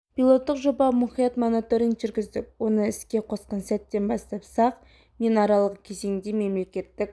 пилоттық жобаға мұқият мониторинг жүргіздік оны іске қосқан сәттен бастап сағ мен аралығы кезеңінде мемлекеттік